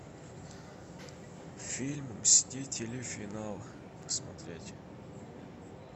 фильм мстители финал смотреть